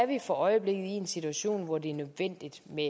vi for øjeblikket i en situation hvor det er nødvendigt med